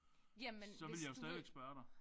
Jamen hvis du vil